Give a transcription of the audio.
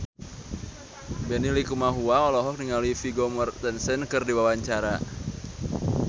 Benny Likumahua olohok ningali Vigo Mortensen keur diwawancara